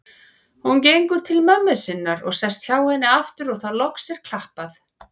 Hún gengur til mömmu sinnar og sest hjá henni aftur og þá loks er klappað.